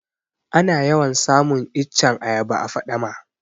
Ana yawan samun iccen ayaba a faɗama